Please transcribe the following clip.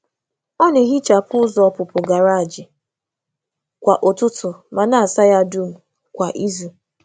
Ọ na-ehichapụ ụzọ ọpụpụ garaaji kwa ụtụtụ ma kwa ụtụtụ ma na-asa ya dum kwa izu.